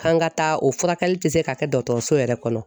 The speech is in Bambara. K'an ka taa o furakɛli tɛ se ka kɛ dɔtɔrɔso yɛrɛ kɔnɔ.